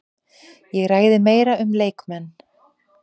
Ég ræði meira um leikmenn.